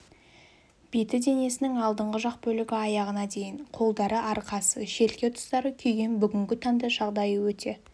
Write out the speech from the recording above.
беті денесінің алдыңғы жақ бөлігі аяғына дейін қолдары арқасы желке тұстары күйген бүгінгі таңда жағдайы өте